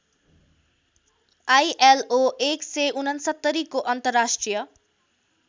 ILO १६९ को अन्तर्राष्ट्रिय